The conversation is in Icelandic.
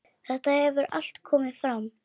Þetta hefur allt komið fram.